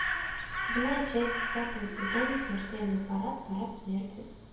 седьмая часть десятого сезона смертельный парад парад смерти